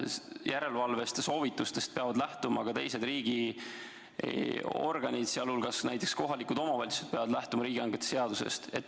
Järelevalvest ja soovitustest peavad lähtuma ka teised riigiorganid, näiteks kohalikud omavalitsused peavad lähtuma riigihangete seadusest.